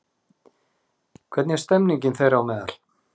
Hvernig er stemmingin þeirra á meðal?